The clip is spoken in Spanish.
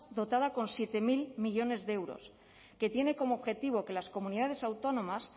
dotada con siete mil millónes de euros que tiene como objetivo que las comunidades autónomas